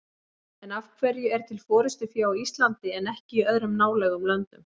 En af hverju er til forystufé á Íslandi en ekki í öðrum nálægum löndum?